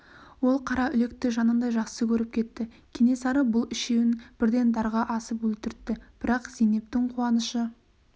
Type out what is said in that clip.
ол қараүлекті жанындай жақсы көріп кетті кенесары бұл үшеуін бірден дарға асып өлтіртті бірақ зейнептің қуанышы